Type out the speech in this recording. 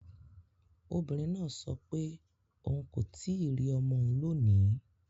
Obìnrin náà sọ pé òun kò tíì rí ọmọ òun lónìí